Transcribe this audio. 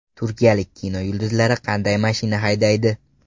Turkiyalik kino yulduzlari qanday mashina haydaydi?